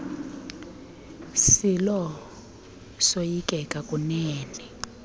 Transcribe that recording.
silo soyikeka kunene